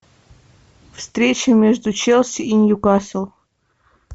встреча между челси и ньюкаслом